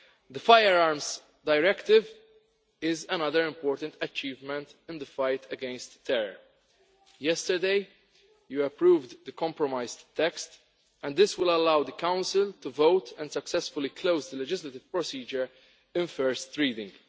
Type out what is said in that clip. The Firearms Directive is another important achievement in the fight against terror. Yesterday you approved the compromise text, and this will allow the Council to vote and successfully close the legislative procedure at first reading.